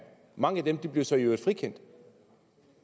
mange af dem blev så i øvrigt frikendt